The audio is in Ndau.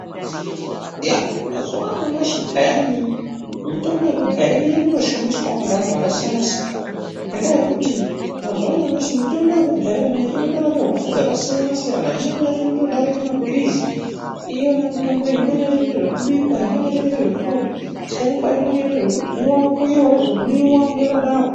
Iya mazuwaanyamashi peyani mitombo yekudhaya ichiri kutishandiswao neanthu akasiyana ngendaa yekuti mazuwaanyamashi mitombo yekudhaya yona iyi inotorape hosha dzakasiyana siyana imweni yacho inotodarike mapirizi iyona mitombo iyi imweni yacho inoita zvekubikwa imweni yacho inoita zvekutotsengwa imweni inoita zvekukuiwa yozomwiwa yakadaro.